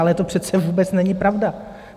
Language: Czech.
Ale to přece vůbec není pravda.